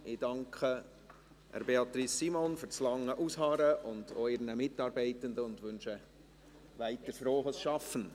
Ich danke Beatrice Simon für das lange Ausharren, und auch ihren Mitarbeitern, und wünsche weiterhin frohes Schaffen.